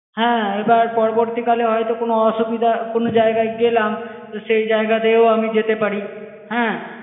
হ্যাঁ, এবার পরবর্তীকালে হয়তো কোনো অসুবিধা~ কোনো জায়গায় গেলাম, তো সেই জায়গাতেও আমি যেতে পার, হ্যাঁ।